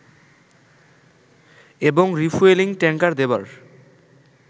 এবং refuelling tanker দেবার